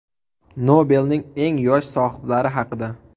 Nobelning eng yosh sohiblari haqida.